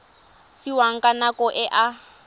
fiwang ka nako e a